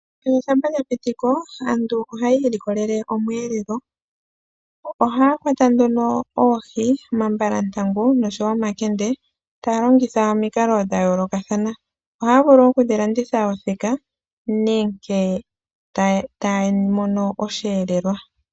Ethimbo shampa lyapitiko aantu ohaya ilikolele omweelelo. Ohaya kwata nduno oohi, omambalantangu, noshowo omakende taya longitha omikalo dhayoolokathana. Ohaya vulu oku dhilanditha othika nenge taya mono osheelelwa.